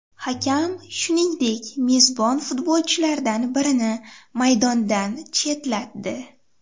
Hakam, shuningdek, mezbon futbolchilardan birini maydondan chetlatdi.